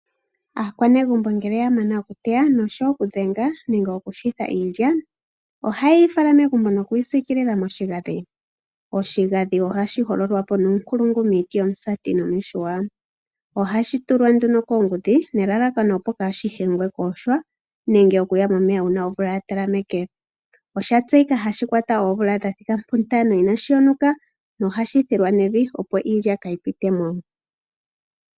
Aanegumbo ngele ya mana okuteya noshowo okudhenga nenge okuyungula iilya, ohaye yi fala megumbo nokuyi siikilila moshigadhi. Oshigadhi ohashi hololwa po nuunkulungu miiti yomusaati nomihuya. Ohashi tulwa tuno koongudhi nelalakano opo kaashi umbwe kuuhwa nenge okuya momeya uuna omvula ya talameke. Osha tseyika hashi kwata oomvula dha thika puntano inaashi yonuka nohashi kolongwa neloya, opo iilya kaayi ziye mo.